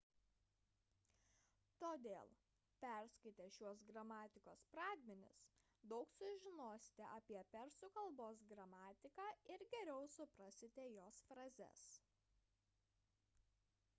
todėl perskaitę šiuos gramatikos pradmenis daug sužinosite apie persų k gramatiką ir geriau suprasite jos frazes